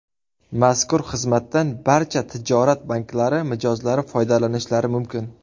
Mazkur xizmatdan barcha tijorat banklari mijozlari foydalanishlari mumkin.